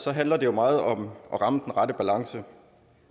handler det jo meget om at ramme den rette balance